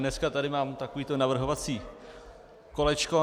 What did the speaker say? Dnes tady mám takové navrhovací kolečko.